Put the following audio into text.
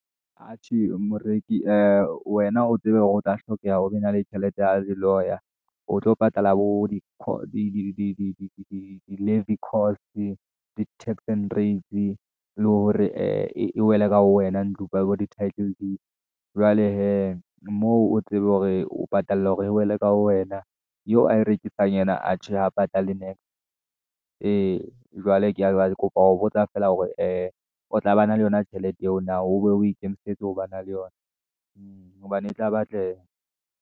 Atjhe, moreki ee wena o tsebe hore hotla hlokeha hore o be na le tjhelete ya di-lawyer, o tlo patala bo di-levi cost-e, bo di-tax and rates, le hore ee ewele ka ho wena ntlo, bo di-tittle deeds. Jwale hee, moo, o tsebe hore o patale hore e wele ka wena, eo a e rekisang ena, ajhe a patale niks-e , ee, jwale ke ba kopa ho botsa feela hore, ee o tla ba na le yona tjhelete eo na, o be o ikemisetse ho ba na le yona , hobane e tla batleha.